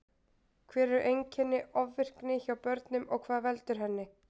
Hver eru einkenni ofvirkni hjá börnum og hvað veldur henni?